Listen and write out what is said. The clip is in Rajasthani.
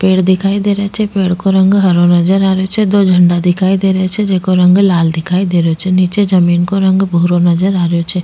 पेड़ दिखाई दे रा छे पेड़ को रंग हरो दिखाई दे रो छे दो झंडा दिखाई दे रा छे जेको रंग लाल दिखाई दे रो छे निचे जमीं को रंग भूरो नजर आ रो छे।